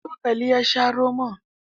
Da cokali ya sha romon.